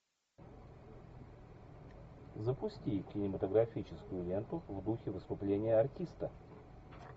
запусти кинематографическую ленту в духе выступления артиста